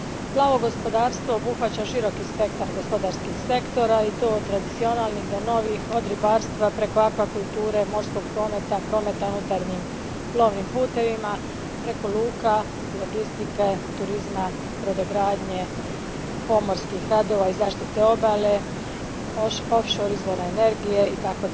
Plavo gospodarstvo obuhvaća širok spektar gospodarskih sektora i to od tradicionalnih do novih, od ribarstva preko akvakulture, morskog prometa, prometa unutarnjim plovnim putevima, preko luka, logistike, turizma, brodogradnje, pomorskih radova i zaštite obale, offshore izvora energije itd.